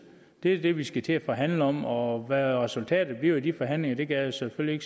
det er det vi skal til at forhandle om og hvad resultatet bliver af de forhandlinger kan jeg selvfølgelig